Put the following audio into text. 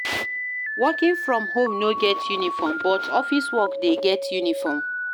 Working from home no get uniform but office work de get uniform